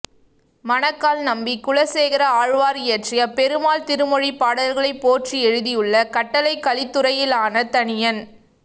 மணக்கால் நம்பி குலசேகர ஆழ்வார் இயற்றிய பெருமாள் திருமொழி பாடல்களைப் போற்றி எழுதியுள்ள கட்டளைக் கலித்துறையாலான தனியன்